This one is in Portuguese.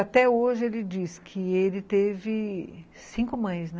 Até hoje ele diz que ele teve cinco mães, né?